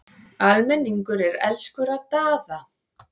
Almenningur er elskur að Daða.